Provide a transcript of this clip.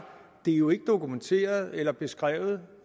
det jo ikke er dokumenteret eller beskrevet